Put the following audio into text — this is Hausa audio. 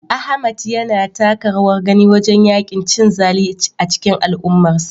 Ahmad yana taka rawar gani wajen yaƙin cin zali a cikin al'ummarsa.